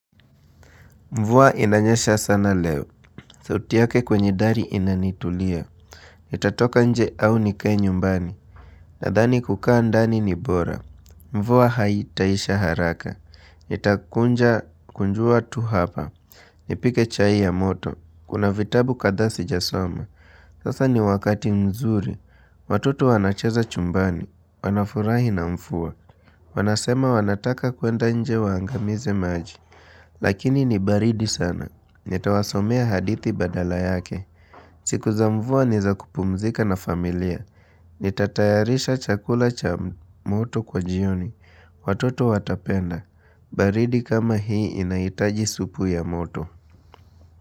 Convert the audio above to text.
Mvua inanyesha sana leo. Mhh sauti yake kwenye dari inanitulia. Mhh eh Itatoka nje au nikae nyumbani. Nadhani kukaa ndani ni bora. Mvua haitaisha haraka. Hh Itakunja kunjua tu hapa. Nipike chai ya moto. Kuna vitabu kadhaa si jasoma. Sasa ni wakati mzuri. Watoto wanacheza chumbani. Wanafurahi na mfua. Wanasema wanataka kuenda nje waangamize maji. Lakini ni baridi sana. Nitawasomea hadithi badala yake. Hhh siku za mvua ni za kupumzika na familia. Nitatayarisha chakula cha moto kwa jioni. Watoto watapenda. Baridi kama hii inaitaji supu ya moto.